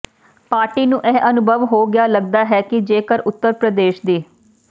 party ਨੂੰ ਇਹ ਅਨੁਭਵ ਹੋ ਗਿਆ ਲਗਦਾ ਹੈ ਕਿ ਜੇਕਰ ਉੱਤਰ ਪ੍ਰਦੇਸ਼ ਦੀ